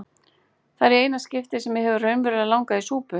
Það er í eina skiptið sem mig hefur verulega langað í súpu.